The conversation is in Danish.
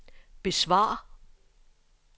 besvar